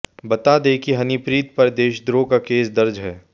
बता दें कि हनीप्रीत पर देशद्रोह का केस दर्ज है